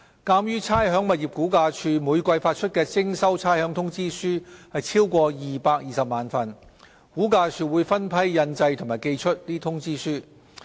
鑒於差餉物業估價署每季發出的徵收差餉通知書超過220萬份，估價署會分批印製和寄出通知書。